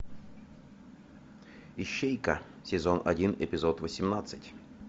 ищейка сезон один эпизод восемнадцать